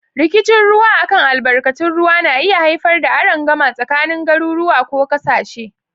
Rikicin ruwa a kan albarkatun ruwa na iya haifar da arangama tsakanin garuruwa ko kasashe.